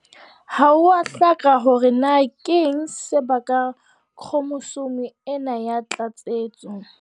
Ha ho a hlaka hore na keng se bakang khromosome ena ya tlatsetso.